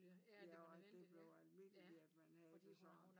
Ja og at det blev almindeligt at man havde det sådan